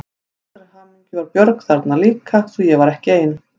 Til allrar hamingju var Björg líka þarna svo ég var ekki ein.